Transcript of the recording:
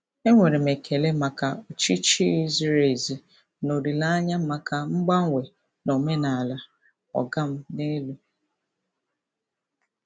E nwere m ekele maka ọchịchị ziri ezi na olile anya maka mgbanwe na omenala "ọga m n'elu".